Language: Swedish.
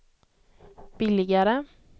billigare